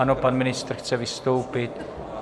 Ano, pan ministr chce vystoupit.